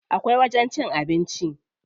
Akwai wajen cin abinci.